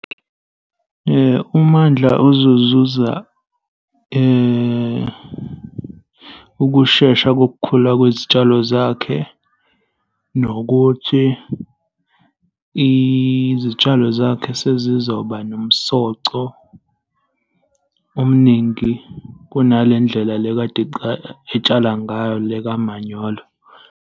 UMandla ozozuza ukushesha kokukhula kwezitshalo zakhe, nokuthi izitshalo zakhe sezizoba nomsoco omningi kunale ndlela le kade etshala ngayo le kamanyolo.